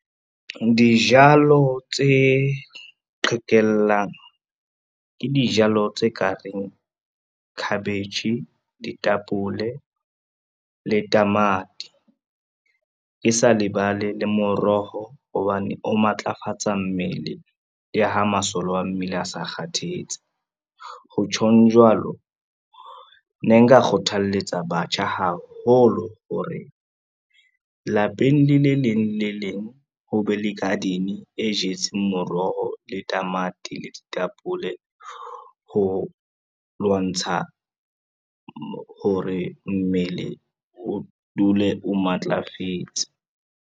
Dijalo tse qhekellang, ke dijalo tse ka reng khabetjhe, ditapole le tamati, ke sa lebale le moroho hobane o matlafatsa mmele le ha masole wa mmele a sa kgathetse. Ho tjhong jwalo, ne nka kgothaletsa batjha haholo hore, lapeng le le leng le leng ho be le garden e jetseng moroho le tamati le ditapole, ho lwantsha hore mmele o dule o matlafetse.